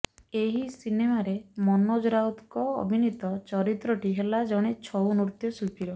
ଏହି ସିନେମାରେ ମନୋଜ ରାଉତଙ୍କ ଅଭିନୀତ ଚରିତ୍ରଟି ହେଲା ଜଣେ ଛଉ ନୃତ୍ୟ ଶିଳ୍ପୀର